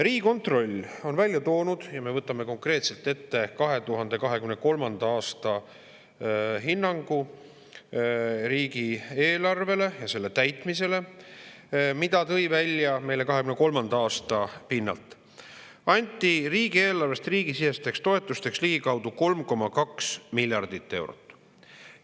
Riigikontroll on 2023. aasta pinnalt välja toonud – võtame konkreetselt ette hinnangu 2023. aasta riigieelarvele ja selle täitmisele, et riigieelarvest anti riigisisesteks toetusteks ligikaudu 3,2 miljardit eurot.